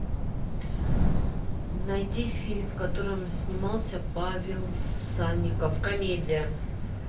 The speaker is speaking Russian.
найти фильм в котором снимался павел санников комедия